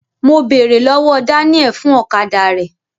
Mo bèrè lọwọ Daniel fún ọ̀kadà rẹ.